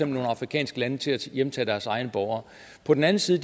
nogle afrikanske lande til at hjemtage deres egne borgere på den anden side